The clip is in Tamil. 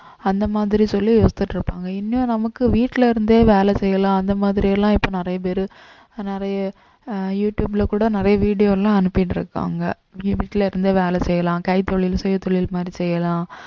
அந்த மாதிரி சொல்லி யோசிச்சுட்டு இருப்பாங்க இன்னும் நமக்கு வீட்டுல இருந்தே வேலை செய்யலாம் அந்த மாதிரி எல்லாம் இப்ப நிறைய பேரு நிறைய அஹ் யூடுபேல கூட நிறைய video எல்லாம் அனுப்பிட்டு இருக்காங்க வீட்டுல இருந்தே வேலை செய்யலாம் கைத்தொழில் சுயதொழில் மாதிரி செய்யலாம்